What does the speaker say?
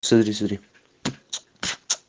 сотри сотри